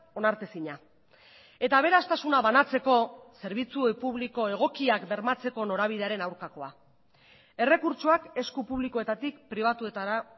onartezina eta aberastasuna banatzeko zerbitzu publiko egokiak bermatzeko norabidearen aurkakoa errekurtsoak esku publikoetatik pribatuetara